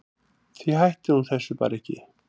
Því hætti hún þessu bara ekki.